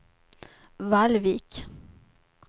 Vallvik